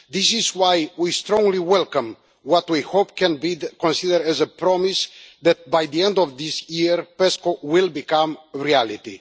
This is why we strongly welcome what we hope can be considered a promise that, by the end of this year, PESCO will become a reality.